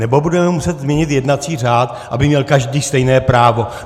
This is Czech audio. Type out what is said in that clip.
Nebo budeme muset změnit jednací řád, aby měl každý stejné právo.